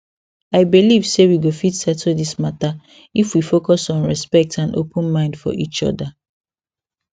i believe say we go fit settle this matter if we focus on respect and open mind for each other